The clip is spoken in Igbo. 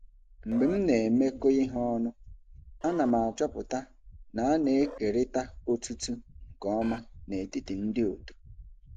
Mgbe m na-emekọ ihe ọnụ, a na m achọpụta na a na-ekerịta otuto nke ọma n'etiti ndị otu.